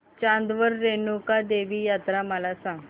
चांदवड रेणुका देवी यात्रा मला सांग